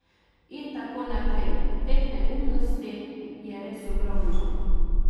In tako naprej, teh neumnosti je res ogromno.